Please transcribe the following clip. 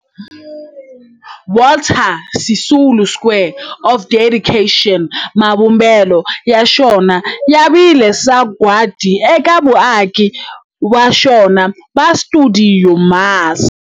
Walter Sisulu Square of Dedication, mavumbelo ya xona ya vile sagwadi eka vaaki va xona va stuidio MAS.